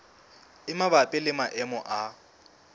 e mabapi le maemo a